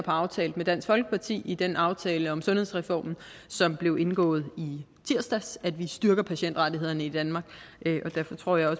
har aftalt med dansk folkeparti i den aftale om sundhedsreformen som blev indgået i tirsdags at vi styrker patientrettighederne i danmark derfor tror jeg